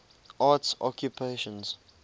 arts occupations